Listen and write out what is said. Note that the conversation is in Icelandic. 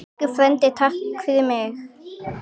Elsku frændi, takk fyrir mig.